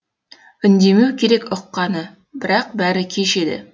үндемеу керек ұққаны бірақ бәрі кеш еді